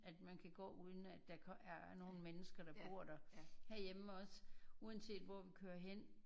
At man kan gå uden at der er nogen mennesker der bor der herhjemme også uanset hvor vi kører hen